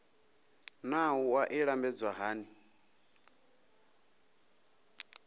naa wua i lambedzwa hani